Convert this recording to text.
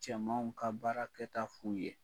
Cɛmanw ka baara kɛ ta f'u ye.